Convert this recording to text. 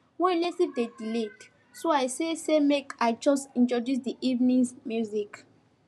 one relative dey delayed so i say say make i just introduce the evenings music